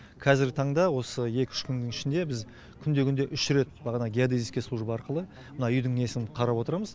қазіргі танда осы екі үш күннің ішінде біз күнде күнде үш рет бағанағы геодезийская служба арқылы мына үйдің несін қарап отырамыз